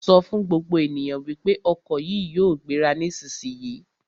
Sọ fún gbogbo ènìyàn wípé ọkọ̀ yìí yóò gbéra nísisìyìí!